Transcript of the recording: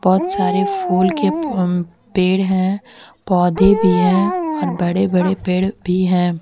बहुत सारे फूल के म पेड़ हैं पौधे भी है और बड़े बड़े पेड़ भी हैं।